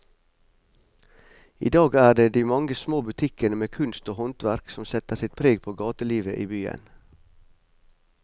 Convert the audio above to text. I dag er det de mange små butikkene med kunst og håndverk som setter sitt preg på gatelivet i byen.